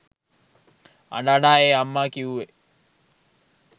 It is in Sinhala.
අඬ අඬා ඒ අම්මා කිව්වේ